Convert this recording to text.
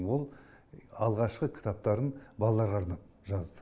ол алғашқы кітаптарын балаларға арнап жазды